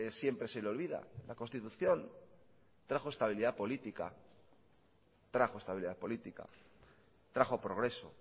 siempre se le olvida la constitución trajo estabilidad política trajo estabilidad política trajo progreso